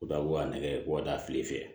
U bɛ taa u ka nɛgɛw ka taa kile fɛ